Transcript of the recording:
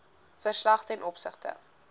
verslag ten opsigte